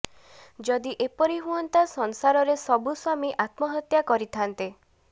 ଯଦି ଏପରି ହୁଅନ୍ତା ସଂସାରରେ ସବୁ ସ୍ୱାମୀ ଆତ୍ମହତ୍ୟା କରିଥାନ୍ତେ